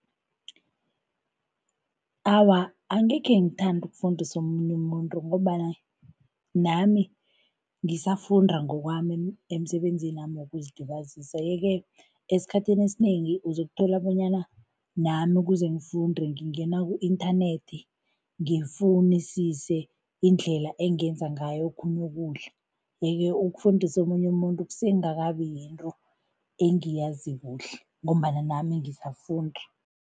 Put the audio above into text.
Awa, angekhe ngithande ukufundisa omunye umuntu ngombana nami ngisafunda ngokwami emisebenzinami wokuzilibazisa yeke esikhathini esinengi uzokuthola bonyana nami ukuze ngifunde, ngingena ku-inthanethi ngifunisise indlela engenza ngayo okhunye ukudla yeke ukufundisa omunye umuntu kusengakabi yinto engiyazi kuhle ngombana nami ngisafunda.